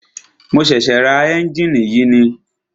Mo ṣẹ̀ṣẹ̀ ra ẹ́njìnì yìí ni.